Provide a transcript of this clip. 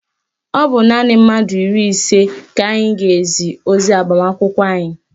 Ọ bụ naanị mmadụ iri ise ka anyị ga-ezi ozi agbamakwụkwọ anyị